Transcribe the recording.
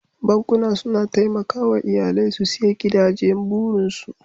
Bankuna suna taimakawa iyalai su siya gidajen burinsu.